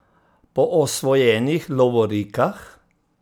Po osvojenih lovorikah?